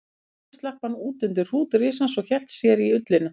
Sjálfur slapp hann út undir hrút risans og hélt sér í ullina.